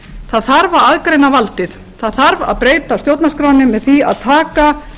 það þarf að aðgreina valdið það þarf að breyta stjórnarskránni með því að taka